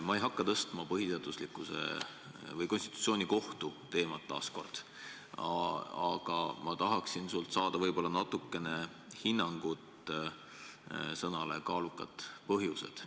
Ma ei hakka veel kord tõstatama põhiseaduslikkuse või konstitutsioonikohtu teemat, aga palun sult hinnangut sõnapaarile "kaalukad põhjused".